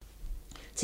TV 2